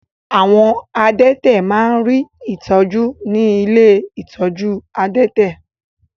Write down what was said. Àwọn adẹ́tẹ̀ má rí ìtọ́jú ní ilé ìtọ́jú adẹ́tẹ̀.